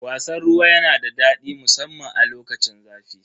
Wasan ruwa yana da daɗi musamman a lokacin zafi.